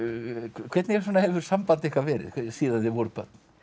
hvernig hefur samband ykkar verið síðan þið voruð börn